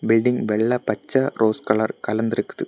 Building வெள்ள பச்ச rose colour கலந்திருக்குது.